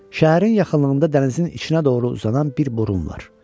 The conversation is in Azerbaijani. Şəhərin yaxınlığında dənizin içinə doğru uzanan bir burun var.